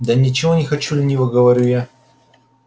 да ничего не хочу лениво говорю я